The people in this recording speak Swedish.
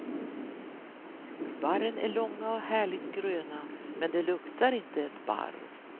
Barren är långa och härligt gröna, men de luktar inte ett barr.